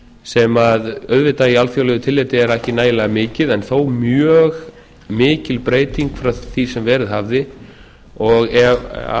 sem auðvitað í alþjóðlegu tilliti er ekki nægilega mikið en þó mjög mikil breyting frá því sem verið hafði og